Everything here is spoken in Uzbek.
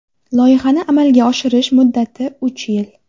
Loyihani amalga oshirish muddati uch yil.